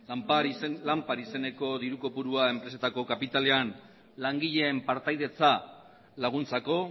lanpar izeneko diru kopurua enpresetako kapitalean langileen partaidetza laguntzako